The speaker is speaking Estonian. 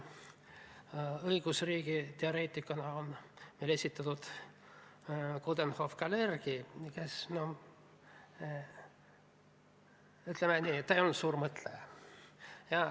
Õigusriigi teoreetikuna on esitatud Coudenhove-Kalergit, kes, ütleme nii, ei olnud suur mõtleja.